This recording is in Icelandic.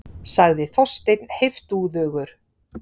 sagði Þorsteinn heiftúðugur.